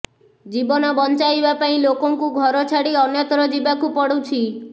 ଜୀବନ ବଞ୍ଚାଇବା ପାଇଁ ଲୋକଙ୍କୁ ଘର ଛାଡ଼ି ଅନ୍ୟତ୍ର ଯିବାକୁ ପଡୁଛି